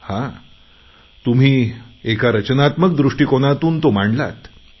हा तुम्ही एका रचनात्मक दृष्टीकोनातून ते मांडलात